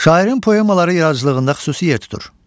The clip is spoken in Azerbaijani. Şairin poemaları yaradıcılığında xüsusi yer tutur.